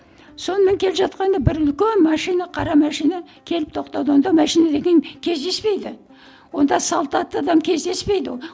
сонымен келе жатқанда бір үлкен машина қара машина келіп тоқтады онда машина деген кездеспейді онда салт атты адам кездеспейді